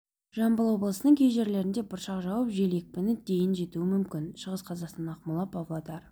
жамбыл облысының кей жерлерінде бұршақ жауып жел екпіні дейін жетуі мүмкін шығыс қазақстан ақмола павлодар